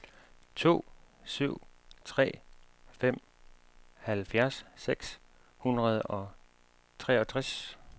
to syv tre fem halvfjerds seks hundrede og treogtres